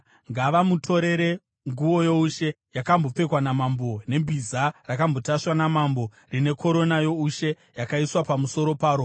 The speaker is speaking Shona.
ngavamutorere nguo youshe yakambopfekwa namambo nebhiza rakambotasvwa namambo, rine korona youshe yakaiswa pamusoro paro.